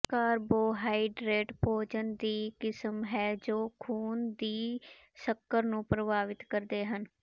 carbohydrate ਭੋਜਨ ਦੀ ਕਿਸਮ ਹੈ ਜੋ ਖੂਨ ਦੀ ਸ਼ੱਕਰ ਨੂੰ ਪ੍ਰਭਾਵਿਤ ਕਰਦੇ ਹਨ